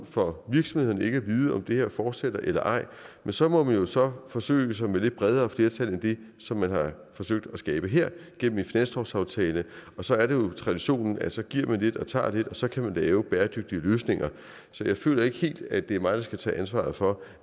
for virksomhederne ikke at vide om det her fortsætter eller ej men så må man jo så forsøge sig med lidt bredere flertal end det som man har forsøgt at skabe her gennem en finanslovsaftale og så er det jo traditionen at man så giver lidt og tager lidt og så kan man lave bæredygtige løsninger så jeg føler ikke helt at det er mig der skal tage ansvaret for